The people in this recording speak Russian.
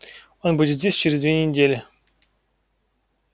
он будет здесь через две недели